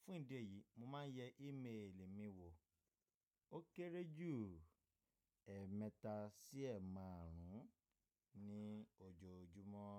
Fún ìdí èyí, mo máa ń yẹ ímeèlì mi wò ó kéré jù ẹ́ẹ̀mẹta sí ẹ́ẹ̀maàrún ní ojoojúmọ́.